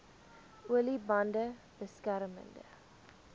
olie bande beskermende